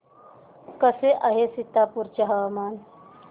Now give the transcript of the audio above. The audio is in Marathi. कसे आहे सीतापुर चे हवामान